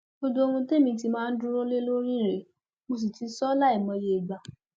gbogbo ohun tẹmí ti máa ń dúró lé lórí rèé mo sì ti sọ ọ láìmọye ìgbà